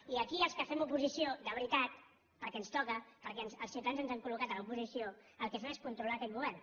i aquí els que fem oposició de veritat perquè ens toca perquè els ciutadans ens han col·locat a l’oposició el que fem és controlar aquest govern